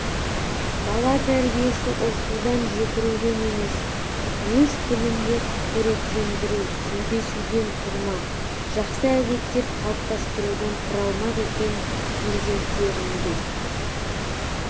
бала тәрбиесі ұрсудан жекіруден емес өз тілінде қоректендіру сөйлесуден тұрмақ жақсы әдеттер қалыптастырудан құралмақ екен перзенттеріңді